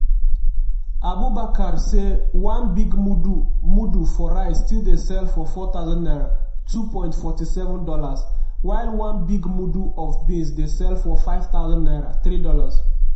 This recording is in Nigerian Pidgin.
abubakar say "one big mudu mudu for rice still dey sell for 4000 naira ($2.47 while one big mudu of beans dey sell for 5000nnaira ($3)."